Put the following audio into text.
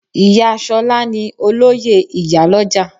Iya Sola ni Olóyè Iyaloja